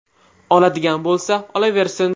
Oladigan bo‘lsa, olaversin.